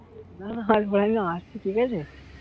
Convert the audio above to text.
না হয় নি আসছি ঠিক আছে